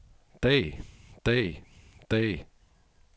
dag dag dag